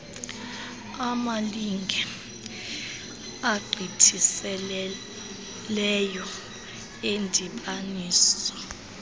amalinge agqithiseleyo endibaniso